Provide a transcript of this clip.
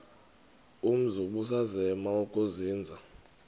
umzi ubusazema ukuzinza